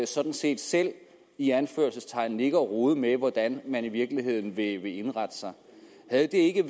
sådan set selv i anførselstegn ligge og rode med hvordan man i virkeligheden vil indrette sig havde det ikke